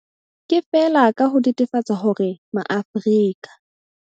Ke feela ka ho netefatsa hore Maafrika